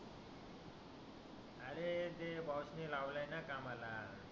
अरे ते बॉस ने लावल आहे न कामाला